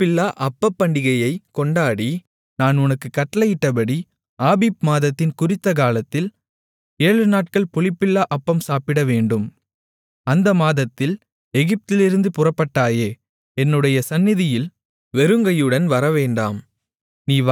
புளிப்பில்லா அப்பப்பண்டிகையைக் கொண்டாடி நான் உனக்குக் கட்டளையிட்டபடி ஆபீப் மாதத்தின் குறித்தகாலத்தில் ஏழுநாட்கள் புளிப்பில்லா அப்பம் சாப்பிடவேண்டும் அந்த மாதத்தில் எகிப்திலிருந்து புறப்பட்டாயே என்னுடைய சந்நிதியில் வெறுங்கையுடன் வரவேண்டாம்